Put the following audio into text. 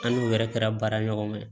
An n'u yɛrɛ kɛra baara ɲɔgɔn ye